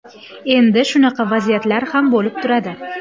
Endi shunaqa vaziyatlar ham bo‘lib turadi.